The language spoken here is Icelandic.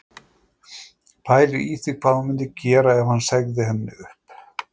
Pælir í því hvað hún myndi gera ef hann segði henni upp